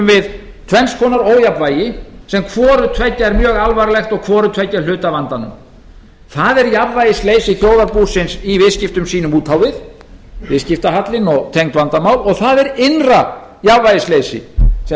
við tvenns konar ójafnvægi sem hvorutveggja er mjög alvarlegt og hvorutveggja hluti af vandanum það er jafnvægisleysi þjóðarbúsins í viðskiptum sínum út á við viðskiptahallinn og tengd vandamál og það er innra jafnvægisleysi sem